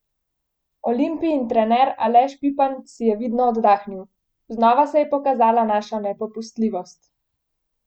Olimpijin trener Aleš Pipan si je vidno oddahnil: 'Znova se je pokazala naša nepopustljivost.